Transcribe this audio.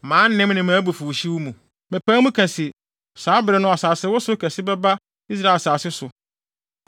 Mʼanem ne mʼabufuwhyew mu, mepae mu ka se, saa bere no asasewosow kɛse bɛba Israel asase so.